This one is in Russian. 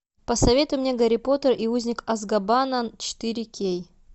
посоветуй мне гарри поттер и узник азкабана четыре кей